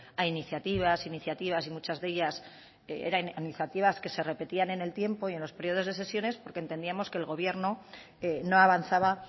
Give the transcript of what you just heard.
a iniciativas iniciativas y muchas de ellas eran iniciativas que se repetían en el tiempo y en los periodos de sesiones porque entendíamos que el gobierno no avanzaba